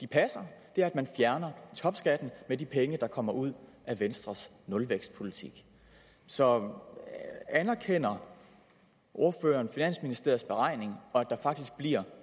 passer er at man fjerner topskatten med de penge der kommer ud af venstres nulvækstpolitik så anerkender ordføreren finansministeriets beregninger og at der faktisk bliver